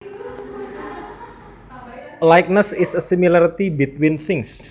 A likeness is a similarity between things